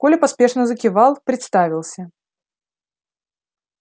коля поспешно закивал представился